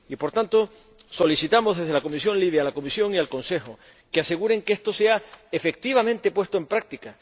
Y, por tanto, solicitamos desde la Comisión LIBE a la Comisión y al Consejo que aseguren que esto sea efectivamente puesto en práctica.